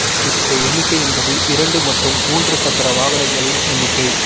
இந்த எண்ணிக்கை என்பது இரண்டு மற்றும் மூன்று சக்கர வாகனங்களின் எண்ணிக்கை